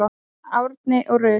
Árni og Rut.